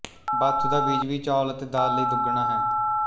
ਬਾਥੂ ਦਾ ਬੀਜ ਵੀ ਚੌਲ ਅਤੇ ਦਾਲ ਲਈ ਦੁੱਗਣਾ ਹੈ